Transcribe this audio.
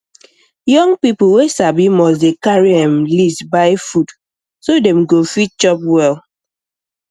young people wey sabi must dey carry um list buy food um so dem go fit chop well um